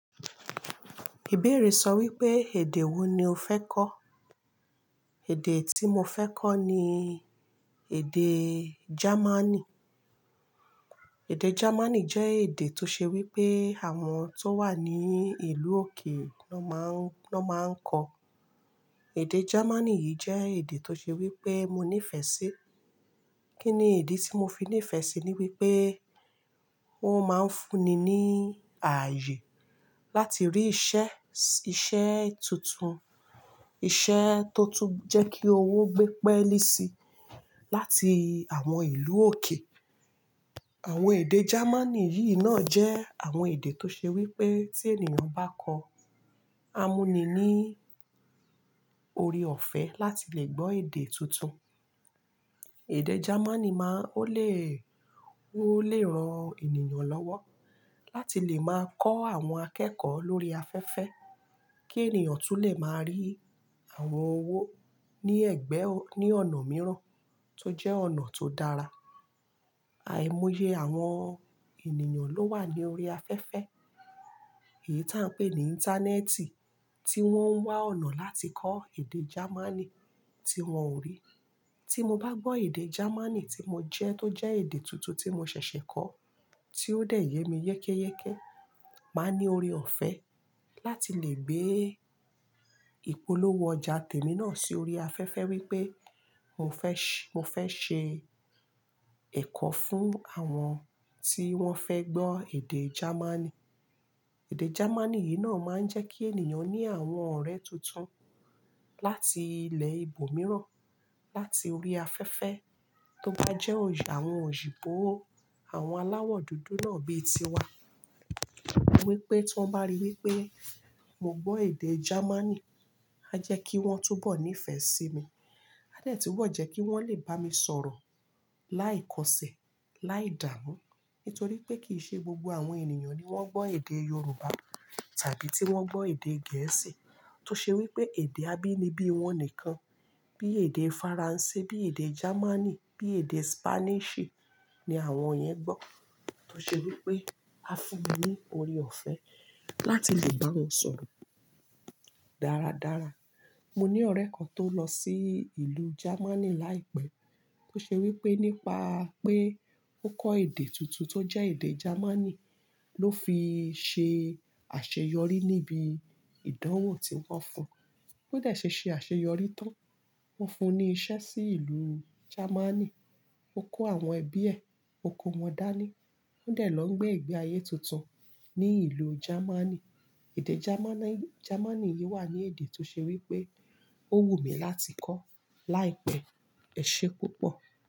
Ìbéèrè sọ wípé, èdè wo ni o fẹ́ kọ́? Ẹ̀dè tí mo fẹ́ kọ́ ni èdè Germany. Ẹ̀dẹ́ Germany jẹ́ èdè tó ṣe wípé àwọn tó wà ní ìlú òkè ló máa ń kọ. Ẹ̀dẹ́ Germany yìí jẹ́ èdè tó ṣe wípé mo nífẹ̀ẹ́ sí. Kí ni ìdí tí mo fi nífẹ̀ síi? Ni wípé wọn máa ń fún ni ní ààyè láti rí iṣẹ́, iṣẹ́ tuntun, iṣẹ́ tó tún jẹ́ kí owó gbé pẹ́lì sí láti àwọn ìlú òkè. Àwọn èdè Germany yìí náà jẹ́ àwọn èdè tó ṣe wípé tí ènìyàn bá kọ́, á mú ni ní ore ọ̀fẹ́ láti lè gbọ́ èdè tuntun. Ẹ̀dẹ́ Germany, ó lè ran ènìyàn lọ́wọ́ láti lè máa kọ́ àwọn akẹ́kọ̀ọ́ lórí afẹ́fẹ́ kí ènìyàn tún lè máa rí àwọn owó ní ẹ̀gbẹ́, ní ọ̀nà mìíràn tó jẹ́ ọ̀nà tó dára. Àìmọye àwọn ènìyàn ló wà ní orí afẹ́fẹ́, èyí tó ń pè ní Íńtánẹ́ẹ̀tì tí wọ́n ń wá ọ̀nà láti kọ́ èdè Germany tí wọn ò rí. Tí mo bá gbọ́ èdè Germany tí mo jẹ́, tó jẹ́ èdè tuntun tí mo ṣẹ̀ṣẹ̀ kọ́, tí ó dẹ̀ yé mi yékéyéké, màá ní ore ọ̀fẹ́ láti lè gbé ìpolówó ọjà tèmi náà sí orí afẹ́fẹ́ wípé mo fẹ́ ṣe ẹ̀kọ́ fún àwọn tí wón fẹ́ gbọ́ èdè Germany. Ẹ̀dẹ́ Germany yìí náà máa ń jẹ́ kí ènìyàn ní àwọn ọ̀rẹ́ tuntun láti ilẹ̀ ibomìíràn láti orí afẹ́fẹ́ tó bá jẹ́ àwọn òyìbó, àwọn aláwọ̀ dúdú náà bíi tiwa. Wípé tí wọ́n bá rí wípé mo gbọ́ èdè Germany, á jẹ́ kí wọ́n túbọ̀ nífẹ̀ sí mi, á dẹ̀ tún bo jẹ́ kí wọ́n lè bá mi sọ̀rọ̀ láìkọsẹ̀, láìdámùn. Nítorí pé kìí ṣe gbogbo àwọn ènìyàn ni wọ́n gbọ́ èdè Yorùbá tàbí tí wọ́n gbọ́ èdè Gẹ̀ẹ́sì tó ṣe wípé èdè abínibí wọn nìkan. Bí èdè Faransé, bí èdè Germany, bí èdè Spanish ni àwọn yẹn gbọ́ tó ṣe wípé á fún ni ore ọ̀fẹ́ láti lè bá wọn sọ̀rọ̀ dáradára. Mo ní ọ̀rẹ́ kan tó lọ sí ìlú Germany láìpẹ́ tó ṣe wípé nípa pé ó kọ́ èdè tuntun tó jẹ́ èdè Germany ló fi ṣe àṣeyọrí níbi ìdánwò tí wọn fun. Ó dẹ̀ ṣe ṣe àṣeyọrí tán. Wọ́n fún ni iṣẹ́ sí ìlú Germany. Ó kó àwọn ẹbí ẹ, ó kó wọn dání. Wọ́n dẹ̀ lọ gbé ìgbé ayé tuntun ní ìlú Germany. Ẹ̀dẹ́ Germany yìí wà ní èdè tó ṣe wípé ó wù mí láti kọ́ láìpẹ́. Ẹ̀ṣẹ́ púpọ̀.